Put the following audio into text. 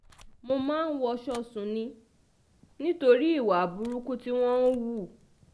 mo máa ń wọṣọ sùn ni um nítorí ìwà burúkú tí um wọ́n ń hù